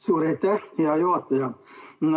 Suur aitäh, hea juhataja!